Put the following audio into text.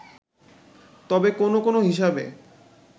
তবে কোন কোন হিসাবে